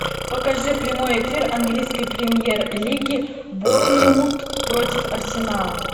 покажи прямой эфир английской премьер лиги борнмут против арсенала